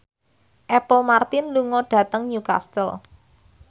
Apple Martin lunga dhateng Newcastle